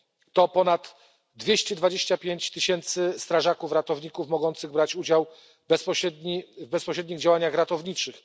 To ponad 225 tysięcy strażaków ratowników mogących brać udział w bezpośrednich działaniach ratowniczych.